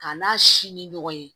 K'a n'a si ni ɲɔgɔn ye